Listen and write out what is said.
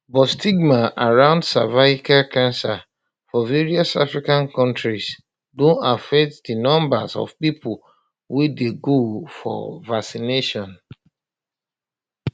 but stigma around cervical cancer for various african kontris don affect di numbers of pipo wey dey go um for vaccination